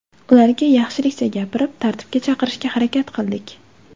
Ularga yaxshilikcha gapirib, tartibga chaqirishga harakat qildik.